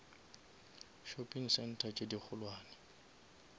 shopping center tše di kgolwane